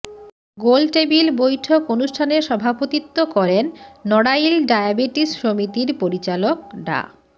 গোলটেবিল বৈঠক অনুষ্ঠানে সভাপতিত্ব করেন নড়াইল ডায়াবেটিস সমিতির পরিচালক ডা